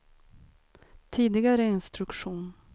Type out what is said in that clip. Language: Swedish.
tidigare instruktion